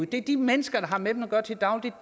det er de mennesker der har med dem at gøre til daglig